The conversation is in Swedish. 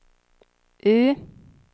U